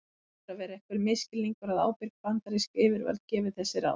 Það hlýtur að vera einhver misskilningur að ábyrg bandarísk yfirvöld gefi þessi ráð.